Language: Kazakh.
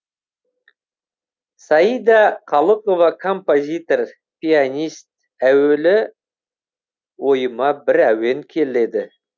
саида қалықова композитор пианист әуелі ойыма бір әуен келеді